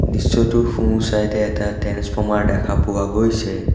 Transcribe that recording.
দৃশ্যটোৰ সোঁ-চাইড এ এটা ট্ৰেন্সফৰ্মাৰ দেখা পোৱা গৈছে।